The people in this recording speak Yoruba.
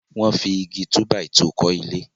wón fí Igi túbàìtuù kò ilé.